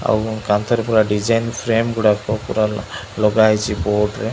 ଆଉ କାନ୍ଥ ରେ ପୁରା ଡିଜାଇନ୍ ଫ୍ରେମ୍ ଗୁଡ଼ାକ ପୁରା ଲ ଲଗା ହେଇଚି ବୋର୍ଡ଼ ରେ --